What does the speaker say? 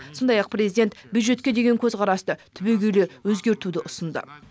сондай ақ президент бюджетке деген көзқарасты түбегейлі өзгертуді ұсынды